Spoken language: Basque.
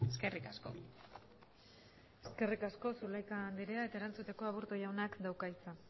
eskerrik asko eskerrik asko zulaika andrea eta erantzuteko aburto jaunak dauka hitza